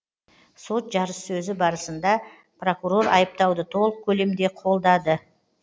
сот жарыссөзі барысында прокурор айыптауды толық көлемде қолдады